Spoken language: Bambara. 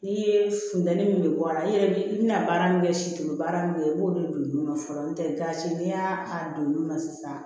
N'i ye funteni min bɔ a la i yɛrɛ bi i bina baara min kɛ situlu baara min kɛ i b'olu don olu la fɔlɔ n'o tɛ gasi n'i y'a k'a don nun na sisan